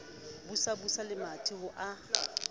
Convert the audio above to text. busa busa lemati ho a